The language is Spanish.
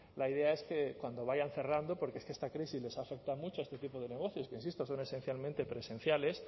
la idea es que cuando vayan cerrando porque es que esta crisis les ha afectado mucho a este tipo de negocios que insisto son esencialmente presenciales